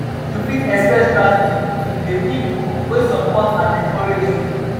you fit express gratitude to de people wey support and encourage you.